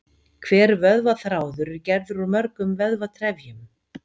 Hver vöðvaþráður er gerður úr mörgum vöðvatrefjum.